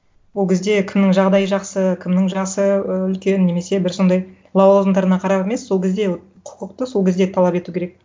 ол кезде кімнің жағдайы жақсы кімнің жасы ы үлкен немесе бір сондай лауазымдарына қарап емес сол кезде вот құқықты сол кезде талап ету керек